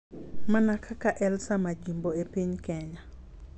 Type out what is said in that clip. Mana kaka Elsa Majimbo e piny Kenya.